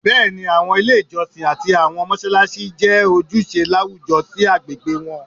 Bẹẹni, awọn ile ijọsin ati awọn mọṣalaṣi jẹ ojuṣe lawujọ si agbegbe wọn